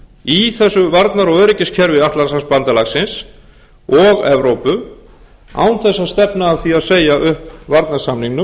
í þessu varnar og öryggiskerfi atlantshafsbandalagsins og evrópu án þess að stefna að því að segja upp varnarsamningnum